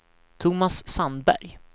Thomas Sandberg